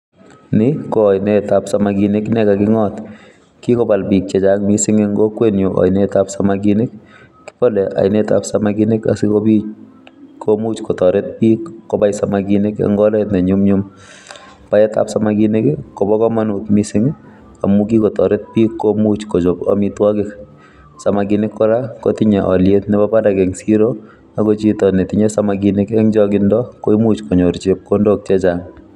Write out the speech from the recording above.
Ni ko ainetab samakinik ne kaking'ot. Kikobal biik chechang' missing eng' kokwet nyu ainetab samakinik. Kibale ainetab samkinik asikobiiit komuch kotoret biik kobai samakinik eng' oret ne nyumnyum. Baetab samakinik, kobo komonut missing amu kikotoret bik komuch kochop amitwogik. Samakinik kora, kotinye aliet nebo barak eng' siro, ago chito netinye samakinik eng' changindo, koimuch konyor chepkondok chechang'